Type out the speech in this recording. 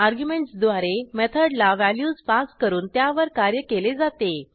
अर्ग्युमेंटसद्वारे मेथडला व्हॅल्यूज पास करून त्यावर कार्य केले जाते